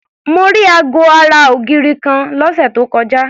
Mo rí aago ara ògiri kan lọ́sẹ̀ tó kọjá.